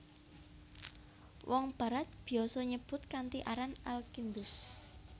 Wong Barat biasa nyebut kanthi aran Al Kindus